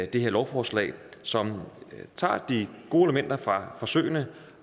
det her lovforslag som tager de gode elementer fra forsøgene